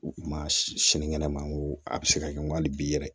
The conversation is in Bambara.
U ma sini kɛnɛ ma n ko a bɛ se ka kɛ n ko hali bi yɛrɛ